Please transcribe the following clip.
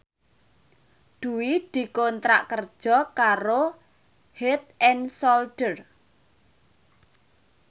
Dwi dikontrak kerja karo Head and Shoulder